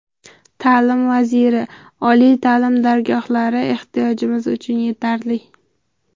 Ta’lim vaziri: Oliy ta’lim dargohlari ehtiyojimiz uchun yetarli.